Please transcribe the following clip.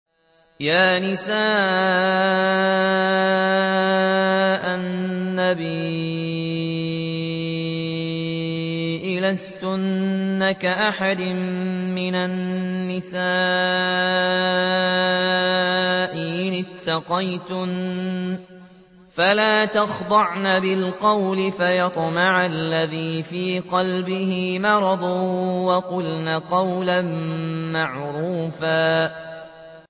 يَا نِسَاءَ النَّبِيِّ لَسْتُنَّ كَأَحَدٍ مِّنَ النِّسَاءِ ۚ إِنِ اتَّقَيْتُنَّ فَلَا تَخْضَعْنَ بِالْقَوْلِ فَيَطْمَعَ الَّذِي فِي قَلْبِهِ مَرَضٌ وَقُلْنَ قَوْلًا مَّعْرُوفًا